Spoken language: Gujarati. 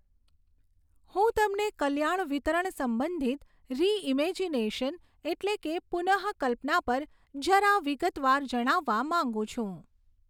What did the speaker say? હું તમને કલ્યાણ વિતરણ સંબંધિત રિઈમૅજિનેશન એટલે કે પુનઃકલ્પના પર જરા વિગતવાર જણાવવા માગું છું.